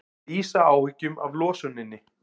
Lýsa áhyggjum af losuninni